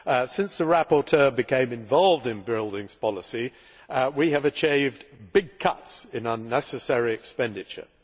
Since the rapporteur became involved in buildings policy we have achieved big cuts in unnecessary expenditure.